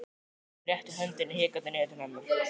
Hann réttir höndina hikandi niður til hennar.